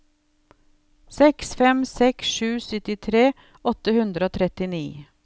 seks fem seks sju syttitre åtte hundre og trettini